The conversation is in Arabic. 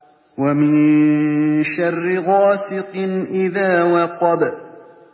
وَمِن شَرِّ غَاسِقٍ إِذَا وَقَبَ